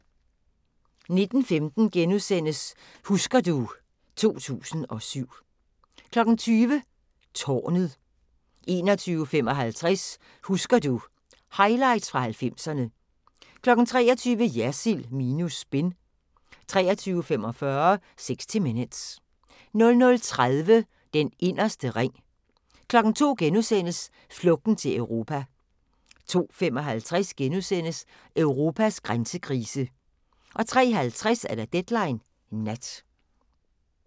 19:15: Husker du ... 2007 * 20:00: Tårnet 21:55: Husker du ...- Highlights fra 90'erne 23:00: Jersild minus spin 23:45: 60 Minutes 00:30: Den inderste ring 02:00: Flugten til Europa * 02:55: Europas grænsekrise * 03:50: Deadline Nat